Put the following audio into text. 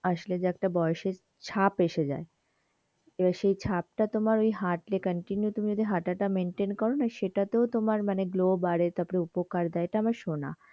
আসলে যে একটা বয়সের ছাপ এসে যাই সেই ছাপ টা তোমার ওই হাঁটলে continue যদি তুমি হাতা তা maintain করোনা সেটা তেওঁ তোমার মানে glow বাড়ে, উপকার দেয়, এটা আমরা সোনা